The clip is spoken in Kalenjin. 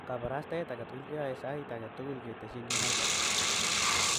kaparastaet age keyoe sait agetugul ketesyin united.